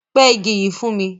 Pẹ ìgi yi fún mi!